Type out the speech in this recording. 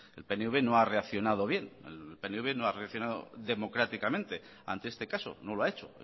el pnv no ha reaccionado bien el pnv no ha reaccionado democráticamente ante este caso no lo ha hecho